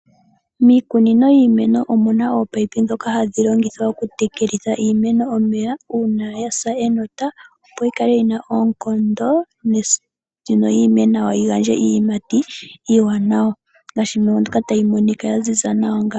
Miikunino yiimeno omuna ominino ndhoka hadhi longithwa oku tekelitha iimeno omeya uuna yasa enota opo yi kale yina oonkondo yo yi ime nawa yi gandje iiyimati iiwanawa ya ziza nawa.